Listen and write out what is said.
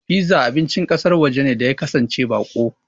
Piza abincin ƙasar waje ne da ya kasance baƙo.